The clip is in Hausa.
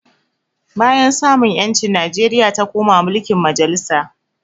Bayan samun ƴanci Nijeria ta koma mulkin majalisa